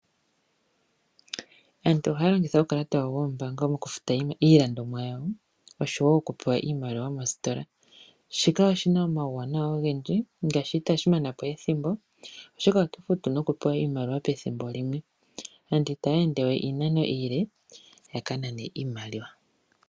Aantu ohaya longitha uukalata wayo wombaanga okufuta iilandomwa yayo oshowo okupewa iimaliwa moostola, shika oshi na omawuwanawa ogendji oshoka itashi mana po ethimbo oshoka oto futu nokupewa iimaliwa pethimbo limwe. Aantu itaya endewe iinano iile ya kanane iimaliwa.